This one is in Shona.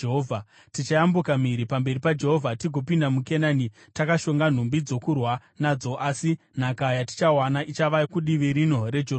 Tichayambuka mhiri pamberi paJehovha tigopinda muKenani, takashonga nhumbi dzokurwa nadzo, asi nhaka yatichawana ichava kudivi rino reJorodhani.”